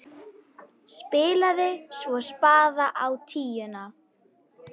Spilaði svo spaða á tíuna!